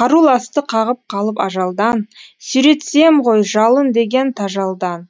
қаруласты қағып қалып ажалдан сүйретсем ғой жалын деген тажалдан